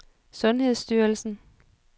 sundhedsstyrelsen